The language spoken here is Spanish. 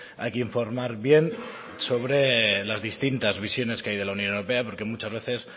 hay que informar bien sobre las distintas visiones que hay de la unión europea porque muchas veces